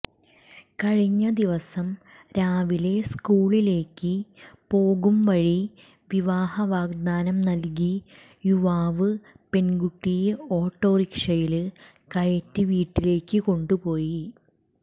കഴിഞ്ഞ ദിവസം രാവിലെ സ്കൂളിലേയ്ക്ക് പോകും വഴി വിവാഹ വാഗ്ദാനം നല്കി യുവാവ് പെണ്കുട്ടിയെ ഓട്ടോറിക്ഷായില് കയറ്റി വീട്ടിലേയ്ക്ക് കൊണ്ടുപോയി